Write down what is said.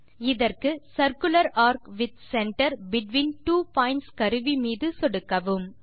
இதற்கு circular arc with centre between two points கருவி மீது சொடுக்கவும்